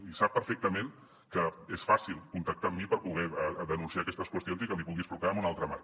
i sap perfectament que és fàcil contactar amb mi per poder denunciar aquestes qüestions i que li pugui explicar en un altre marc